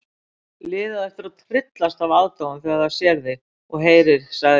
Liðið á eftir að tryllast af aðdáun þegar það sér þig og heyrir sagði